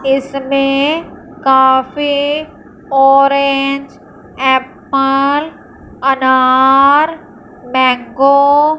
इसमें काफी orange apple अनार मैंगो --